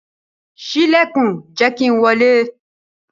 Ṣii ilẹkun, jẹ ki n wọle!